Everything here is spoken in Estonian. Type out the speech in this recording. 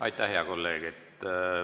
Aitäh, hea kolleeg!